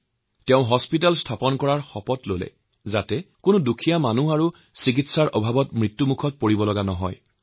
ছাইদুলে তেতিয়াই হাস্পতাল নিৰ্মাণৰ শপত লৈছিল যাতে চিকিৎসাৰ অভাৱত কোনো দুখীয়া লোকে মৃত্যুক সাৱটিব লগা নহয়